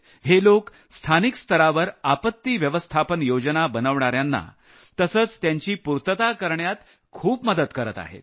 हे लोक स्थानिक स्तरावर संकट व्यवस्थापन योजना बनवणाऱ्यांना तसंच त्यांची पूर्तता करण्यात खूप मदत करत आहेत